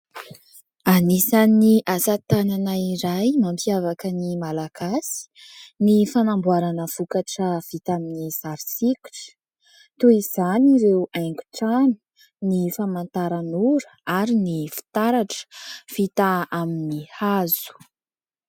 Anisan'ny asa tanana iray mampiavaka ny Malagasy ny fanamboarana vokatra vita amin'ny sary sokitra toy izany ireo haingotrano ny famantaranora ary ny fitaratra vita amin'ny hazo.